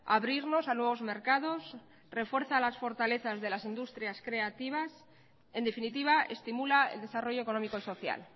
abrirnos a nuevos mercados refuerza las fortalezas de las industrias creativas en definitiva estimula el desarrollo económico y social